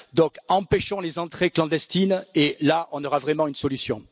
Donc empêchons les entrées clandestines et là on aura vraiment une solution.